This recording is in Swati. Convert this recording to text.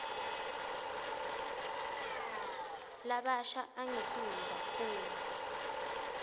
labasha angetulu kakhulu